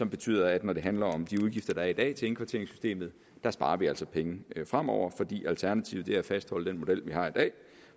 betyder at når det handler om de udgifter der i dag er til indkvarteringssystemet sparer vi altså penge fremover for alternativet er at fastholde den model vi har i dag